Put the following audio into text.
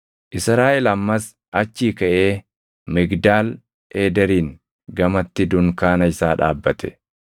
Israaʼel ammas achii kaʼee Migdaal Eederiin gamatti dunkaana isaa dhaabbate.